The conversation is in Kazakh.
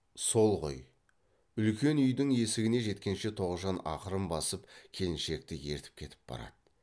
сол ғой үлкен үйдің есігіне жеткенше тоғжан ақырын басып келіншекті ертіп кетіп барады